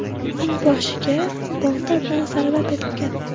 Uning boshiga bolta bilan zarba berilgan.